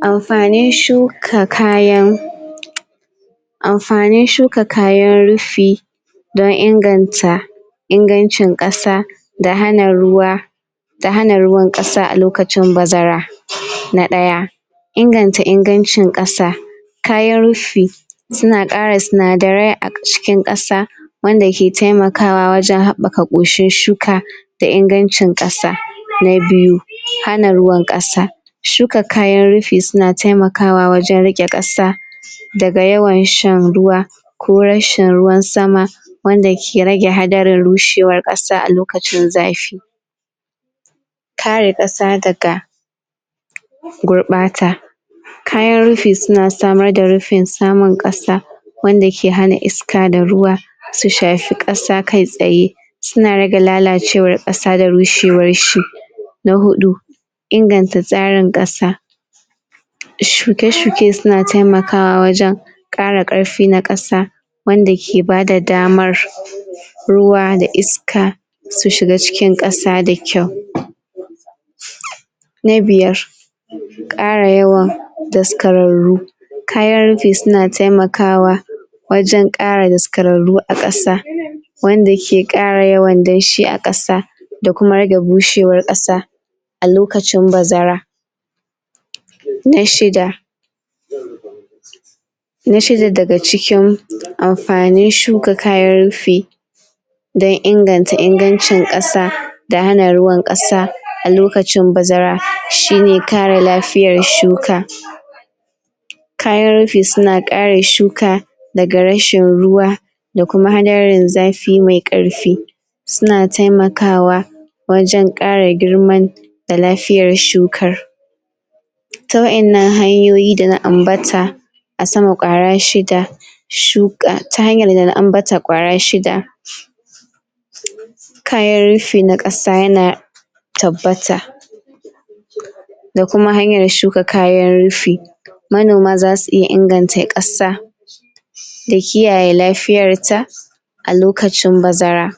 Amfanin shuka kayan amfanin shuka kayan rufi don inganta ingancin ƙasa da hana ruwa da hana ruwan ƙasa a lokacin bazara na ɗaya inganta ingancin ƙasa kayan rufi suna ƙara sinadarai a cikin ƙasa wanda ke taimakawa wajen haɓɓaka koshin shuka da ingancin kasa na biyu, hana ruwan kasa shuka kayan rufi suna taimakawa wajen rike ƙasa daga yawan shan ruwa ko rashin ruwan sama wanda ke rage hadarin rushewar ƙasa a lokacin zafi kare ƙasa daga gurɓata kayan rufi suna samar da rufin samun kasa wanda ke hana iska da ruwa su shafi ƙasa kai tsaye suna rage lalacewar ƙasa da rushewarshi na huɗu inganta tsrin ƙasa shuke-shuke suna taimakwa wajen ƙara ƙarfi na ƙasa wanda ke bada damar ruwa da iska su shiga cikin ƙasa da kyau?? na biyar ƙara yawan daskararru kayan rufi suna taimakawa wajen ƙara daskararru a kasa wanda ke ƙara yawan dnshi a ƙasa da kuma rage bushewarar kasa a lokacin bazara na shida?? na shida daga cikin amfanin shuka kayan rufi don inganta ingancin ƙasa da hana euwan kasa a lokacin bazara shine kare lafiyar shuka kayan rufi suna kare shuka daga rashin ruwa da kuma hadarin zafi mai ƙarfi suna taimakawa wajen ƙara girman da lafiyar shukar ta wa innan hanyoyi da na ambata a sama kwara shida shuka ta hanyar da na ambata kwara shida?? kayan rufi na ƙasa yana tabbata? da kuma hanyar shuka kayan rufi manoma zasu iya inganta ƙasa da kiyaye lafiyarta a lokacin bazara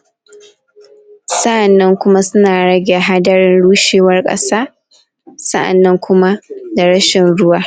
sa'annan kuma suna rage hadarin rushewar ƙasa sa'annan kuma da rashin ruwa